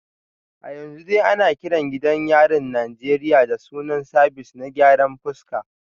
A yanzu dai ana kiran gidan yarin Najeriya da sunan Sabis na gyaran fuska